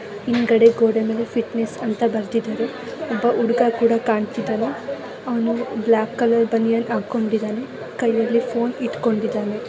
ಹಿಂದ್ಗಡೆ ಗೋಡೆ ಮೇಲೆ ಫಿಟ್ನೆಸ್ ಅಂತ ಬರ್ದಿದಾರೆ. ಒಬ್ಬ ಹುಡ್ಗ ಕೂಡ ಕಾಣಿಸ್ತಾ ಇದಾನೆ ಅವ್ನು ಬ್ಲಾಕ್ ಕಲರ್ ಬನಿಯನ್ ಹಾಕೊಂಡಿದಾನೆ ಕೈಯಲ್ಲಿ ಫೋನ್ ಇಟ್ಕೊಂಡಿದ್ದಾನೆ.